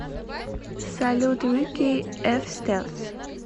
салют рики эф стелс